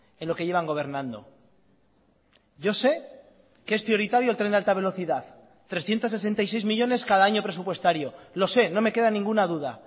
en lo que llevan gobernando yo sé que es prioritario el tren de alta velocidad trescientos sesenta y seis millónes cada año presupuestario lo sé no me queda ninguna duda